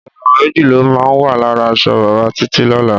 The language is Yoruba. Ìràwọ̀ méjì ló máa wà lára aṣọ bàbá Títí lọ́la.